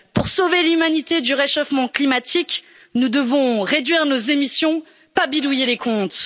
Pour sauver l'humanité du réchauffement climatique, nous devons réduire nos émissions, pas bidouiller les comptes.